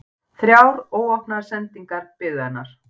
Þrjár óopnaðar sendingar biðu hennar.